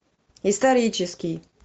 исторический